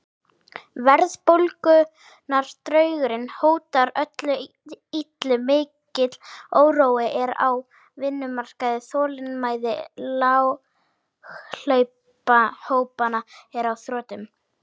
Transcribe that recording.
Verðbólgudraugurinn hótar öllu illu, mikill órói er á vinnumarkaði, þolinmæði láglaunahópanna er á þrotum.